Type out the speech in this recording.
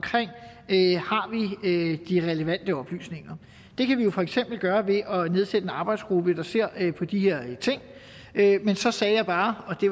vi har de relevante oplysninger det kan vi jo for eksempel gøre ved at nedsætte en arbejdsgruppe der ser på de her ting men så sagde jeg bare og det